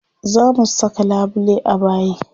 Za mu saka labule a bayi.